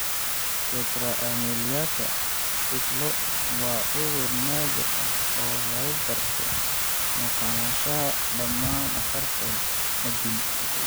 Tetra ameliaka cidlo waa cudur naadir ah oo lagu garto maqnaanshaha dhammaan afarta addin.